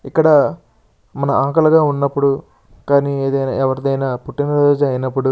ఇక్కడ మనం ఆకలిగా ఉన్నప్పుడు లేదా ఎవరికైనా పుట్టినరోజులు అయినప్పుడు --